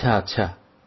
আচ্ছা আচ্ছা